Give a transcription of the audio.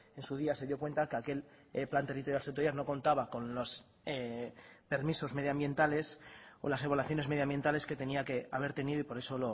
en su día se dio cuenta que aquel plan territorial sectorial no contaba con los permisos medioambientales o las evaluaciones medioambientales que tenía que haber tenido y por eso